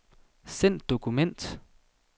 Send dokument.